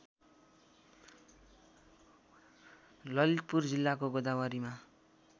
ललितपुर जिल्लाको गोदावरीमा